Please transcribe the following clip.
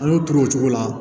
A y'o turu o cogo la